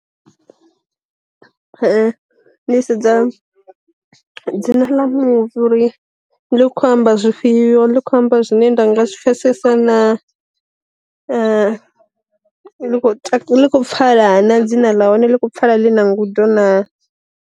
Ndi sedza dzina ḽa muvi uri ḽi kho amba zwifhio likho amba zwine nda nga zwi pfesesa na, ḽi khou pfala na dzina ḽa hone ḽi khou pfala ḽi na ngudo na.